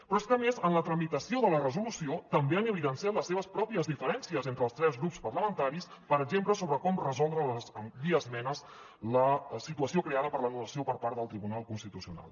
però és que a més en la tramitació de la resolució també han evidenciat les seves pròpies diferències entre els tres grups parlamentaris per exemple sobre com resoldre via esmenes la situació creada per l’anul·lació per part del tribunal constitucional